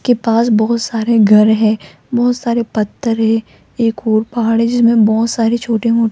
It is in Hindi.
के पास बहोत सारे घर है बहोत सारे पत्थर है एक और पहाड़ी जिसमें बहोत सारे छोटे मो --